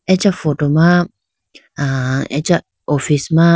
acha photo ma a acha office ma.